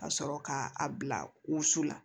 Ka sɔrɔ k'a bila wusu la